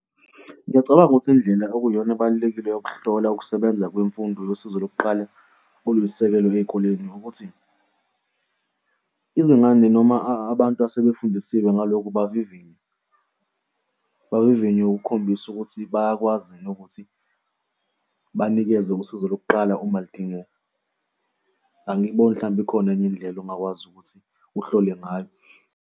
Ngiyacabanga ukuthi indlela okuyiyona ebalulekile yokuhlola ukusebenza kwemfundo yosizo lokuqala okuyisisekelo ey'koleni ukuthi, izingane noma abantu asebefundisiwe ngalokhu, bavivinywe, bavivinywe ukukhombisa ukuthi bayakwazi yini ukuthi banikeze usizo lokuqala uma ludingeka. Angiyiboni mhlawumbe ikhona enye indlela ongakwazi ukuthi uhlolwe ngayo.